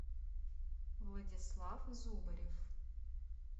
владислав зубарев